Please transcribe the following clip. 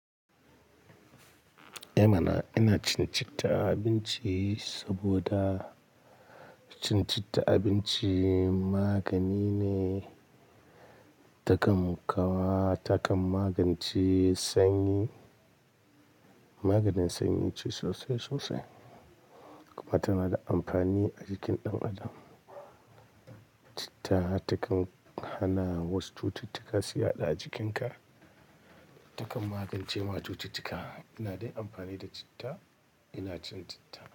Eh mana! Ina cin citta a abinci saboda citta abinci magani ne takam kawa, takan magance sanyi. Maganin sanyi ce sosai, sosai. Kuma tana da amfani a jikin ɗan adam. Citta takan hana wasu cututtuka su yaɗa jikinka. Ta kan magance ma cututtuka ina dai amfani da citta ina cin citta.